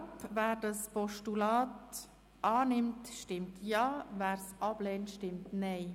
Wer das Postulat annimmt, stimmt Ja, wer dieses ablehnt, stimmt Nein.